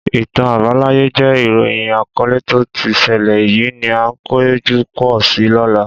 Ìtàn àbáláyé jẹ ìróyín àkọlẹ tó tí sẹlẹ, èyí ni a o pejọ pọ̀ sọ lóla